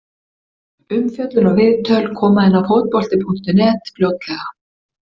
Umfjöllun og viðtöl koma inn á Fótbolti.net fljótlega.